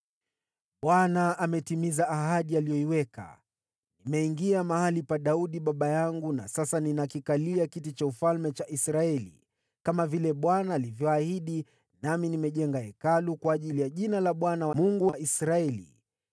“ Bwana ametimiza ahadi aliyoiweka: Nimeingia mahali pa Daudi baba yangu na sasa ninakikalia kiti cha ufalme cha Israeli, kama vile Bwana alivyoahidi, nami nimejenga Hekalu kwa ajili ya Jina la Bwana , Mungu wa Israeli.